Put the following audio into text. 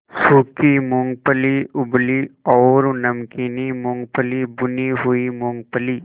सूखी मूँगफली उबली और नमकीन मूँगफली भुनी हुई मूँगफली